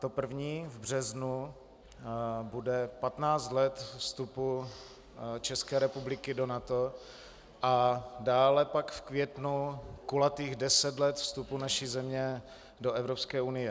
To první v březnu bude 15 let vstupu České republiky do NATO a dále pak v květnu kulatých deset let vstupu naší země do Evropské unie.